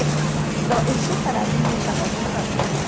Então, isso para mim me chamou muito a atenção.